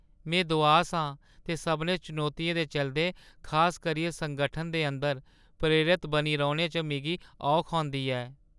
में दुआस आं ते सभनें चुनौतियें दे चलदे, खास करियै संगठन दे अंदर, प्रेरत बने रौह्‌ने च मिगी औख होंदी ऐ।